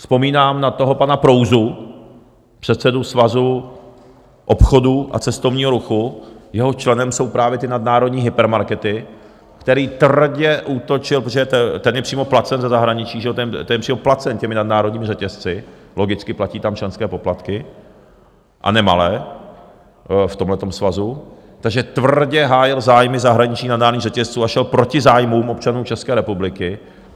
Vzpomínám na toho pana Prouzu, předsedu Svazu obchodu a cestovního ruchu, jehož členem jsou právě ty nadnárodní hypermarkety, který tvrdě útočil, protože ten je přímo placen ze zahraničí, že jo, ten je přímo placen těmi nadnárodními řetězci, logicky, platí tam členské poplatky, a nemalé, v tomhletom svazu, takže tvrdě hájil zájmy zahraničních nadnárodních řetězců a šel proti zájmům občanů České republiky.